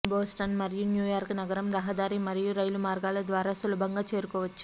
Boston మరియు New York నగరం రహదారి మరియు రైలు మార్గాల ద్వారా సులభంగా చేరుకోవచ్చు